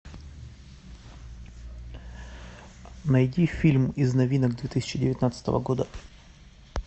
найти фильм из новинок две тысячи девятнадцатого года